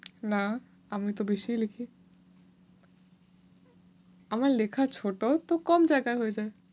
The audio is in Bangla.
না, আমি তো বেশিই লিখি। আমার লেখা ছোট তো কম জায়গায় হয়ে যায়।